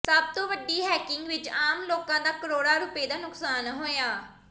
ਸਭ ਤੋਂ ਵੱਡੀ ਹੈਕਿੰਗ ਵਿੱਚ ਆਮ ਲੋਕਾਂ ਦਾ ਕਰੋੜਾਂ ਰੁਪਏ ਦਾ ਨੁਕਸਾਨ ਹੋਇਆ